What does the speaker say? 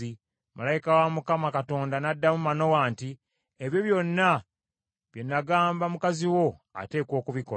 Malayika wa Mukama Katonda n’addamu Manowa nti, “Ebyo byonna bye nagamba mukazi wo ateekwa okubikola.